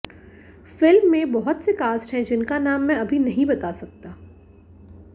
film में बहुत से कास्ट हैं जिनका नाम मैं अभी नहीं बता सकता